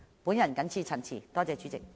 我謹此陳辭，多謝主席。